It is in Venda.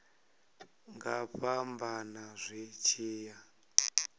nga fhambana zwi tshi ya